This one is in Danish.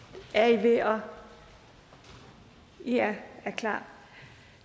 i her i er klar